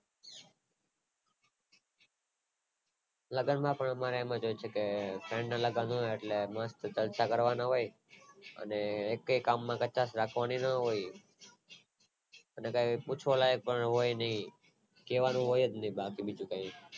લગન માં તો અમારે એવું જ હોય છે કે friend ના લગન હોય એટલે મસ્ટ ખર્ચા કરવાના હોય અને એકેય કામ માં ધગસ રાખવાની નય અને કાય પૂછવા લાયક હોય નય કેવાનું હોય ને બાકી બધું